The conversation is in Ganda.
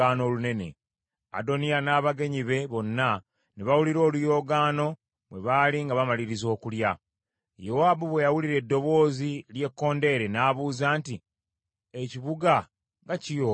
Adoniya n’abagenyi be bonna ne bawulira oluyoogaano bwe baali nga bamaliriza okulya. Yowaabu bwe yawulira eddoboozi ly’ekkondeere, n’abuuza nti, “Ekibuga nga kiyoogaana?”